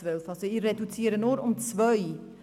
Ich reduziere also nur um zwei.